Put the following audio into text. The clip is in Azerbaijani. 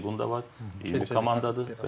Seqonda var, 20 komandadır.